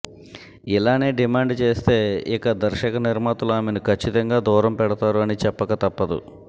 ఇలానే డిమాండ్ చేస్తే ఇక దర్శక నిర్మాతలు ఆమెను ఖచ్చితంగా దూరం పెడతారు అని చెప్పక తప్పదు